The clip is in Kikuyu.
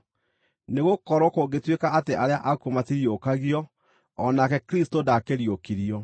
Nĩgũkorwo kũngĩtuĩka atĩ arĩa akuũ matiriũkagio, o nake Kristũ ndaakĩriũkirio.